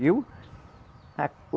Viu? A